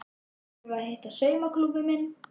Síðan förum við að hitta saumaklúbbinn minn.